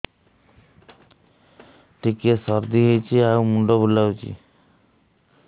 ଟିକିଏ ସର୍ଦ୍ଦି ହେଇଚି ଆଉ ମୁଣ୍ଡ ବୁଲାଉଛି